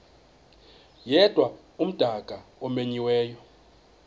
yedwa umdaka omenyiweyo